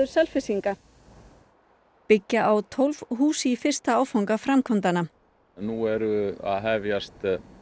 Selfyssinga byggja á tólf hús í fyrsta áfanga framkvæmdanna nú eru að hefjast